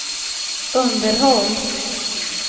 underhåll